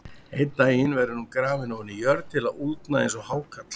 Einn daginn verður hún grafin ofan í jörð til að úldna eins og hákarl.